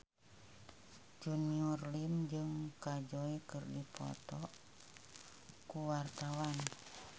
Junior Liem jeung Kajol keur dipoto ku wartawan